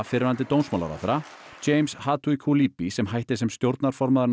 fyrrverandi dómsmálaráðherra James Hatuikulipi sem hætti sem stjórnarformaður